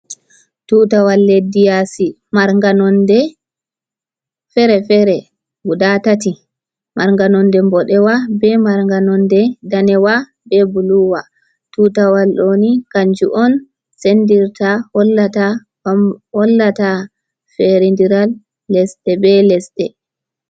Tuutawal leddi yaasi marnga nonnde feere-feere guda tati, marnga nonnde mboɗeewa, be marnga nonnde daneewa, be buluuwa, tuutawal ɗooni kannjum on senndirta, hollata feerendiral lesɗe be lesɗe.